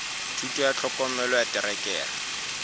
thuto ya tlhokomelo ya terekere